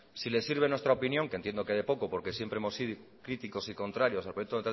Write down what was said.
si le sirve nuestra opinión que entiendo que de poco porque siempre hemos sido críticos y contrarios al proyecto